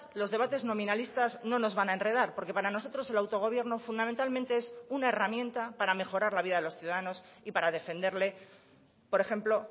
los debates nominalistas no nos van a enredar porque para nosotros el autogobierno fundamentalmente es una herramienta para mejorar la vida de los ciudadanos y para defenderle por ejemplo